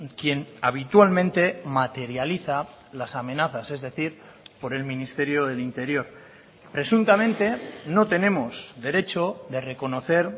quien habitualmente materializa las amenazas es decir por el ministerio del interior presuntamente no tenemos derecho de reconocer